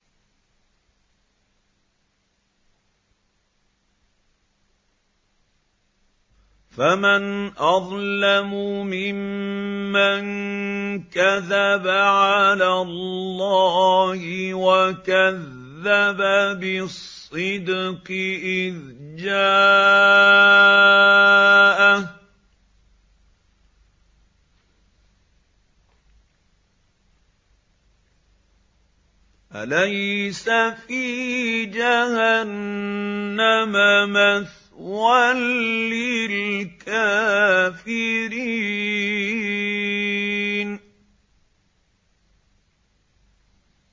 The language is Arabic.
۞ فَمَنْ أَظْلَمُ مِمَّن كَذَبَ عَلَى اللَّهِ وَكَذَّبَ بِالصِّدْقِ إِذْ جَاءَهُ ۚ أَلَيْسَ فِي جَهَنَّمَ مَثْوًى لِّلْكَافِرِينَ